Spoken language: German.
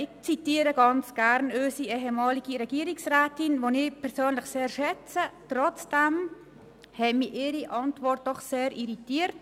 Ich zitiere ganz gern unsere ehemalige Regierungsrätin, die ich persönlich sehr schätze, obwohl mich ihre Antwort auf die Motion sehr irritiert.